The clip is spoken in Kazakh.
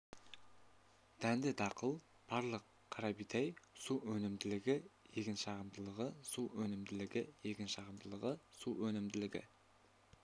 дәнді дақыл барлығы қарабидай су өнімділігі егін шығымдылығы су өнімділігі егін шығымдылығы су өнімділігі